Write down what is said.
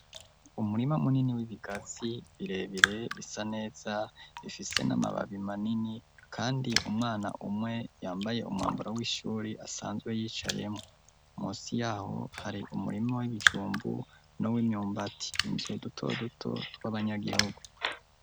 Umurima munini w'ibigazi birebire bisa neza, bifise n'amababi manini, kandi umwana umwe yambaye umwambaro w'ishuri asanzwe yicayemwo, musi y'aho hari umurima w'ibijumbu n'uw'imyumbati, utuzu duto duto tw'abanyagihugu.